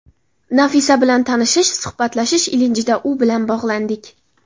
Nafisa bilan tanishish, suhbatlashish ilinjida u bilan bog‘landik.